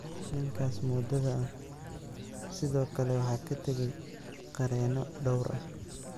Ninkaas moodada ah sidoo kale waxaa ka tagay qareeno dhowr ah.